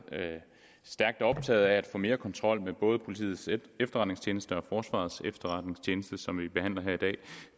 stærkt optaget af at få mere kontrol med både politiets efterretningstjeneste og forsvarets efterretningstjeneste noget som vi behandler her i dag